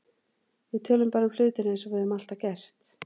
Við tölum bara um hlutina eins og við höfum alltaf gert.